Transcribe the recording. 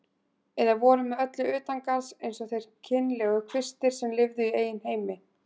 Eða voru með öllu utangarðs eins og þeir kynlegu kvistir sem lifðu í eigin heimi.